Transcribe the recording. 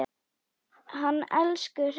Hann elsku Hreinn.